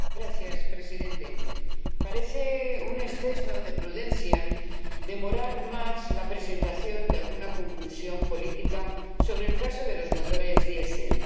Señor Presidente, parece un exceso de prudencia demorar más la presentación de alguna conclusión política sobre el caso de los motores diésel.